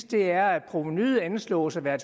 det er at provenuet anslås at være